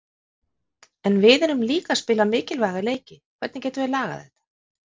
En við erum líka að spila mikilvæga leiki, hvernig getum við lagað þetta?